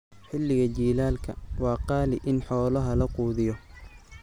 Xilliga jiilaalka, waa qaali in xoolaha la quudiyo.